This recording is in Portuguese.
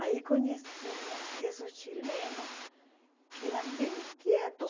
Aí conhecemos esses chilenos que eram bem quietos.